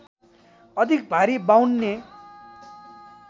अधिक भारी बाउन्ने